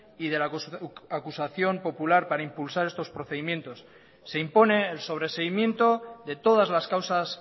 y de la acusación popular para impulsar estos procedimientos se impone el sobreseimiento de todas las causas